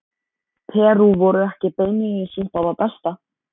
Perú voru ekki beinlínis upp á það besta.